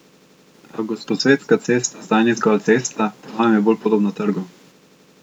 A Gosposvetska cesta zdaj ni zgolj cesta, po novem je bolj podobna trgu.